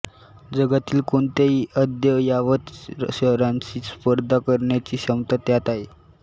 जगातील कोणत्याही अद्ययावत शहरांशी स्पर्धा करण्याची क्षमता त्यात आहे